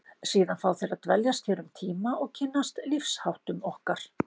Síðan fá þeir að dveljast hér um tíma og kynnast lífsháttum okkar.